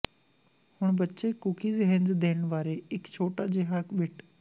ਹੁਣ ਬੱਚੇ ਕੂਕੀਜ਼ ਹੇਨਜ਼ ਦੇਣ ਬਾਰੇ ਇੱਕ ਛੋਟਾ ਜਿਹਾ ਬਿੱਟ